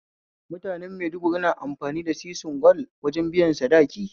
Mutanen maiduguri na amfani da sisin gwal wajen biya sadaki